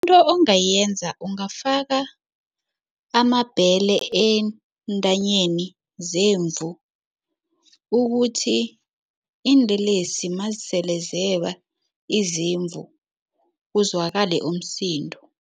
Into ongayenza, ungafaka amabhele eentanyeni zemvu ukuthi iinlelesi mazisele zeba izimvu kuzwakale umsindo.